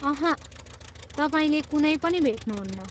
अहँ, तपाईँले कुनै पनि भेट्नुहुन्न।